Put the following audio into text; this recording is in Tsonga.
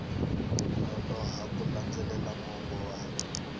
nonoha ku landzelela mongo wa